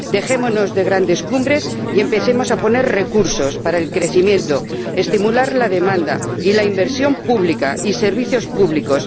¡Dejémonos de grandes cumbres y empecemos a poner recursos para el crecimiento, para estimular la demanda y la inversión pública y los servicios públicos!